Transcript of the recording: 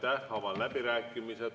Avan läbirääkimised.